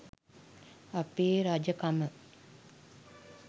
අපේ රජකම